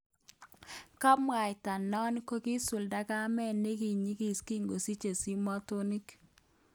Kabwatan non kokisuldo kamet nekinyigis kikosiche simotonik